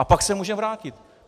A pak se může vrátit.